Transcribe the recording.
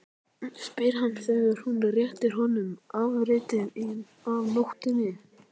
spyr hann þegar hún réttir honum afritið af nótunni.